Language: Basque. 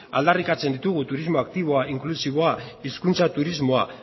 aldarrikatzen ditugu turismo aktiboa inklusiboa hizkuntza turismoa